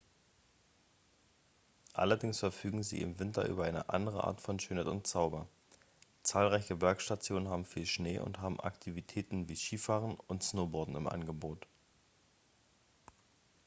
allerdings verfügen sie im winter über eine andere art von schönheit und zauber zahlreiche bergstationen haben viel schnee und haben aktivitäten wie skifahren und snowboarden im angebot